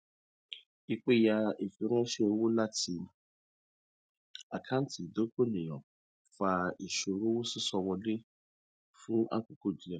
ìpẹyà ìfiránṣẹ owó láti àkántì ìdokoìnà fa ìṣòro sísọ owó wọlé fún àkókò díẹ